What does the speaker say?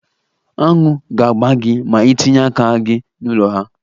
Aṅụ ga-agba gi ma itinye aka gị n'ụlọ ha.